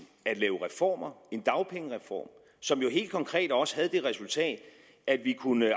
at lave reformer en dagpengereform som jo helt konkret også havde det resultat at vi kunne